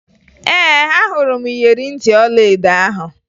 Ee, ahụrụ m iyeri ntị ọlaedo ahụ